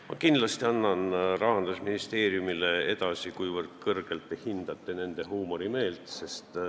Ma kindlasti annan Rahandusministeeriumile edasi, kui kõrgelt te hindate nende huumorimeelt.